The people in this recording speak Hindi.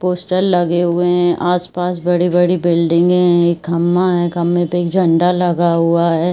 पोस्टर लगे हुए हैं। आस-पास बड़ी-बड़ी बिल्डिंगे हैं। एक खंभा है। खंभे पे एक झंडा लगा हुआ है।